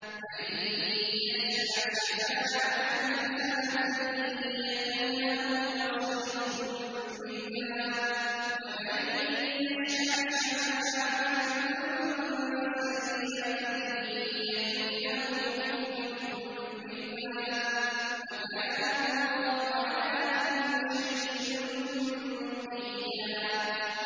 مَّن يَشْفَعْ شَفَاعَةً حَسَنَةً يَكُن لَّهُ نَصِيبٌ مِّنْهَا ۖ وَمَن يَشْفَعْ شَفَاعَةً سَيِّئَةً يَكُن لَّهُ كِفْلٌ مِّنْهَا ۗ وَكَانَ اللَّهُ عَلَىٰ كُلِّ شَيْءٍ مُّقِيتًا